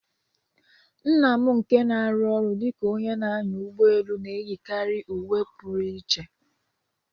Nna m nke na-arụ ọrụ dị ka onye na-anya ụgbọ elu na-eyikarị uwe Puru iche.